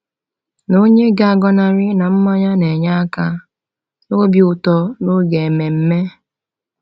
Na onye ga-agọnarị na mmanya na-enye aka n’obi ụtọ n’oge ememme?